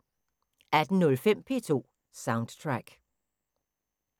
18:05: P2 Soundtrack